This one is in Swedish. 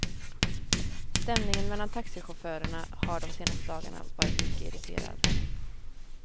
Stämningen mellan taxichaufförerna har de senaste dagarna varit mycket irriterad.